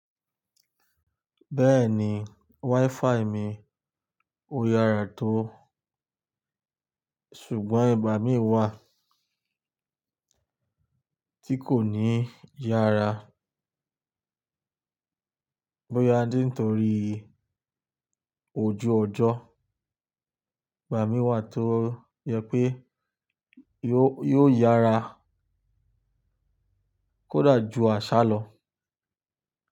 Bẹ́ẹ̀ni, WiFi mi ó yára tó. Ṣùgbọ́n ìgbà mí wà tí kò ní yára. Bóyá ni ntòrí ojú ọjọ́, ìgbà mí wà tó yẹ pé yóò yára kódà ju àsálọ́.